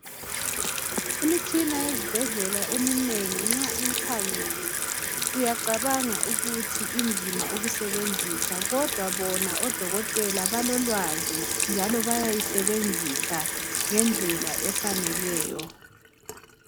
Imitshina yezibhedlela eminengi nxa uyikhangele uyacabanga ukuthi inzima ukusebenzisa kodwa bona odokotela balolwazi njalo bayayisebenzisa ngendlela efaneleyo